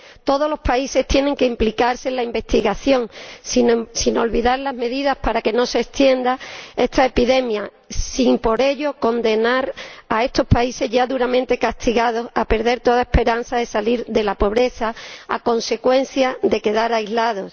Todos los países tienen que implicarse en la investigación, sin olvidar las medidas para que no se extienda esta epidemia, sin por ello condenar a estos países, ya duramente castigados, a perder toda esperanza de salir de la pobreza a consecuencia de quedar aislados.